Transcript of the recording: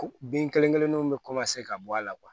Ko bin kelen kelenninw bɛ ka bɔ a la